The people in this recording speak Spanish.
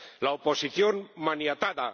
la oposición, maniatada